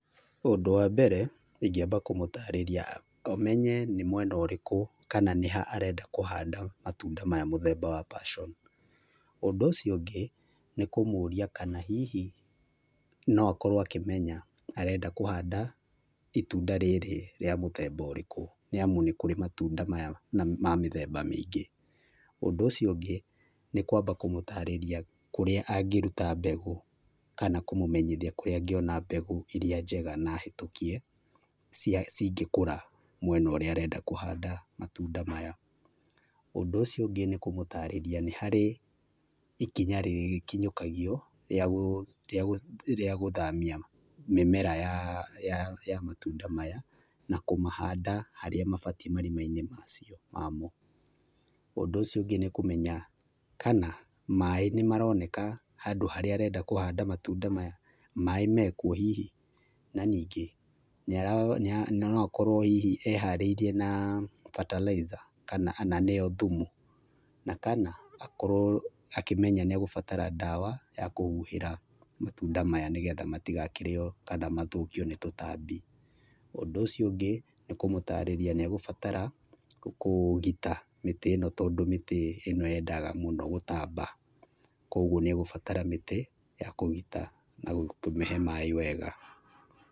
Ũndũ wa mbere ingĩamba kũmũtarĩria amenye nĩ mwena ũrĩkũ kana nĩha arenda kũhanda matunda maya mũthemba wa passion. Ũndũ ũcio ũngĩ, nĩ kũmũria kana hihi no akorwo akĩmenya arenda kũhanda itunda rĩrĩ rĩa mũthemba ũrĩkũ, nĩamu nĩ kũrĩ matunda maya ma mĩthemba mĩingĩ. Ũndũ ũcio ũngĩ , nĩ kwamba kũmũtarĩria kũrĩa angĩruta mbegũ kana kũmũmenyithia kũrĩa angĩona mbegũ iria njega na hĩtũkie, cingĩkũra mwena ũrĩa arenda kũhanda matunda maya. Ũndũ ũcio ũngĩ, nĩ kũmũtarĩria nĩ harĩ ikinya rĩkinyũkagio rĩa rĩa rĩa gũthamia mĩmera ya ya ya matunda maya, na kũmahanda harĩa mabatiĩ marima-inĩ macio mamo. Ũndũ ũcio ũngĩ nĩ kũmenya kana maĩ nĩmaroneka handũ harĩa arenda kũhanda matunda maya. Maĩ mekuo hihi. Na ningĩ no akorwo hihi eharĩirie na fertilizer kana na nĩyo thumu. Na kana akorwo akĩmenya nĩegũbatara ndawa ya kũhuhĩra matunda maya, nĩgetha matigakĩrĩo kana mathũkio nĩ tũtambi. Ũndũ ũcio ũngĩ nĩ kũmũtarĩria nĩegũbatara kũgita mĩtĩ ĩno tondũ mĩtĩ ĩno yendaga mũno gũtamba. Kogwo nĩegũbatara mĩtĩ ya kũgita na kũmĩhe maĩ wega.